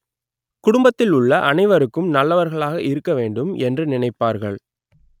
குடும்பத்தில் உள்ள அனைவருக்கும் நல்லவர்களாக இருக்க வேண்டும் என்று நினைப்பார்கள்